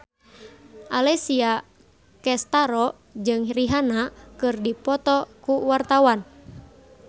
Alessia Cestaro jeung Rihanna keur dipoto ku wartawan